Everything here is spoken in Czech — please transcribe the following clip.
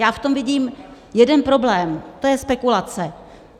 Já v tom vidím jeden problém, to je spekulace.